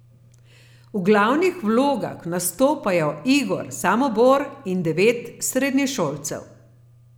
V glavnih vlogah nastopajo Igor Samobor in devet srednješolcev.